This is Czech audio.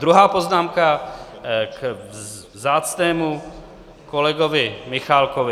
Druhá poznámka k vzácnému kolegovi Michálkovi.